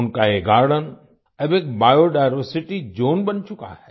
उनका ये गार्डन अब एक बायोडायवर्सिटी ज़ोन बन चुका है